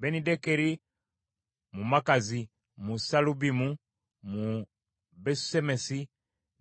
Benidekeri, mu Makazi, mu Saalubimu, mu Besusemesi,